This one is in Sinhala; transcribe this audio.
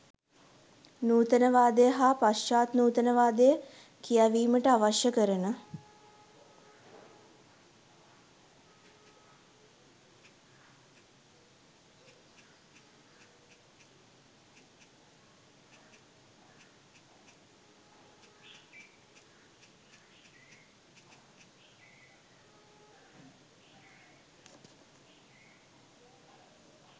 නූතනවාදය හා පශ්චාත් නූතනවාදය කියැවීමට අවශ්‍ය කරන